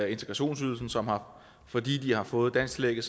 integrationsydelsen som fordi de har fået dansktillægget